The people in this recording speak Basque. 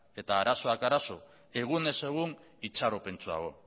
eta arazoak arazo egunez egun itxaropentsuago